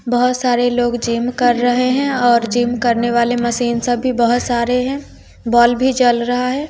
बहोत सारे लोग जिम कर रहे हैं और जिम करने वाले मशीन सभी बहोत सारे हैं बल्ब भी जल रहा है।